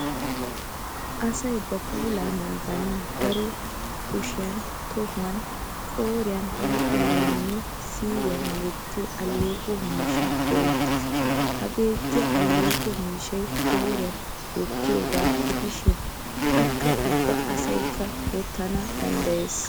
Asay ba puulaa naaganawu daro kushiyan, tohuwan, qooriyan, huuphiyaninne siiriyan wottiyo alleeqo miishshaa go'ettes. Ha beettiya alleeqo miishshay qooriyan wottiyoogaa gidishin akka ubba asayikka wottana danddayes.